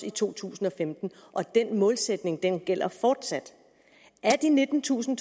i to tusind og femten og den målsætning gælder fortsat af de nittentusind